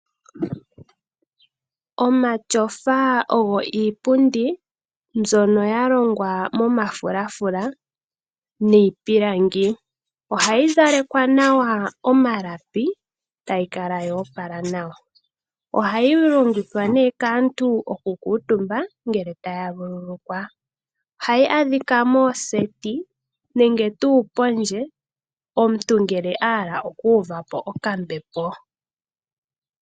Omatyofa ogo iipundi mbyono yalongwa momafulafula niipilangi, ohayi zalekwa nawa omalapi tayikala yoopala nawa. Ohayi longithwa ne kaantu okukuutumba ngele taya vululukwa. Ohayi adhika mooseti nenge tuu pondje omuntu ngele ahala okuuva po okambepo.